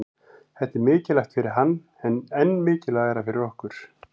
Þetta er mikilvægt fyrir hann en enn mikilvægara fyrir okkur